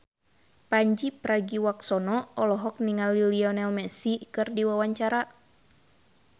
Pandji Pragiwaksono olohok ningali Lionel Messi keur diwawancara